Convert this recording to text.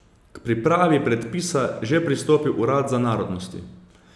K pripravi predpisa že pristopil urad za narodnosti.